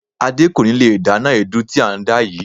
Adé kò ní lè dáná èédú tí à ń dá yìí.